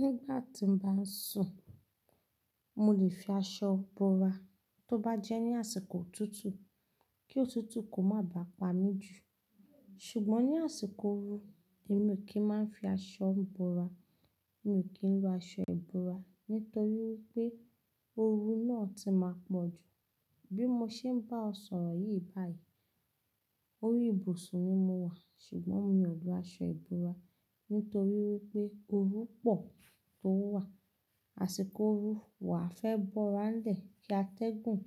Nígbà tí mo bá ń sùn, mo lè fi aṣọ búra tó bá jẹ́ ní àsìkò òtútù kí òtútù kó má bà pa mí jù. Ṣùgbọ́n ní àsìkò ooru, èmi ò kí ń máa ń fi aṣọ búra. Mi ò kí ń lo aṣọ ìbúra nítorí wípé ooru náà ti máa pọ̀ jù. Bí mo ṣe ń bá ẹ sọ̀rọ̀ yìí báyìí, orí ìbùsùn ni mo wà, ṣùgbọ́n mi ò lo aṣọ ìbúra nítorí wípé ooru pọ̀ tó wà. Àsìkò ooru, wà á fẹ́ búra ńlẹ̀ kí a tẹ́gùn,